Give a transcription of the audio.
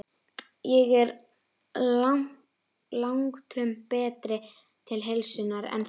Ég er langtum betri til heilsunnar en þú.